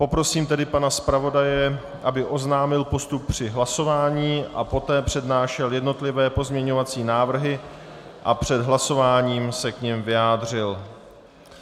Poprosím tedy pana zpravodaje, aby oznámil postup při hlasování a poté přednášel jednotlivé pozměňovací návrhy a před hlasováním se k nim vyjádřil.